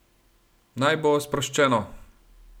Naj bo sproščeno!